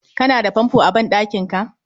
Ka na da fanfo a ban ɗankinka